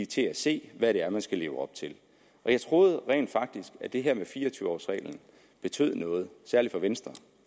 til at se hvad det er man skal leve op til jeg troede rent faktisk at det her med fire og tyve års reglen betød noget særlig for venstre